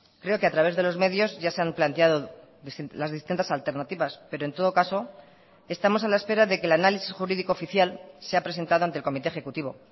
creo que a través de los medios ya se han planteado las distintas alternativas pero en todo caso estamos a la espera de que el análisis jurídico oficial sea presentado ante el comité ejecutivo